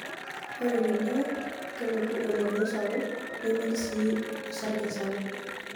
Ore tenewo, kelotu emodoo sapuk neimin sii osarge sapuk.